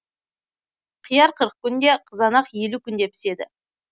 қияр қырық күнде қызанақ елу күнде піседі